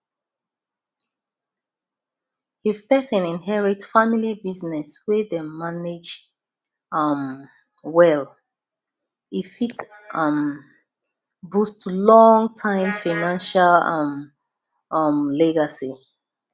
if person inherit family business wey dem manage um well e fit um boost long term financial um um legacy